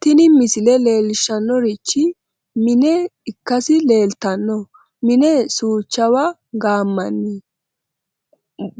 tini misile leellishshannorichi mine ikkasi leeltanno mine suuchawa gaammanni